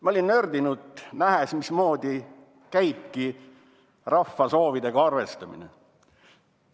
Ma olin nördinud, nähes, mismoodi käib rahva soovidega arvestamine.